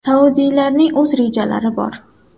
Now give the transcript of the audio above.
Saudiylarning o‘z rejalari ham bor.